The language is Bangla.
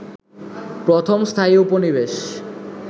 প্রথম স্থায়ী উপনিবেশ